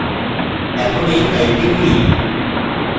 এখন এই file খুলি